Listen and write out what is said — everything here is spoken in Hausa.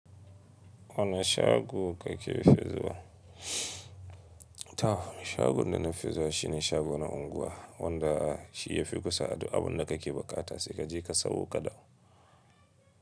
Wane shago kake fizuwa? Toh, shagon da nafi zuwa shine shago na unguwa, wanda shi yafi kusa duk abinda kake buƙata sai kaje ka sawo ka dawo.